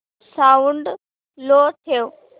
sound low ठेव